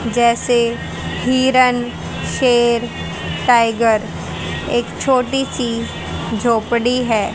जैसे हिरण शेर टाइगर एक छोटी सी झोपड़ी है।